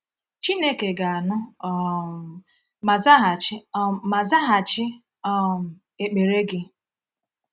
Chineke ga-anụ um ma zaghachi um ma zaghachi um ekpere gị?